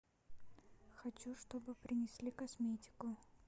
хочу чтобы принесли косметику